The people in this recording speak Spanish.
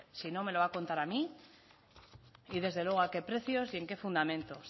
si no me lo va a contar a mí y desde luego a qué precios y en qué fundamento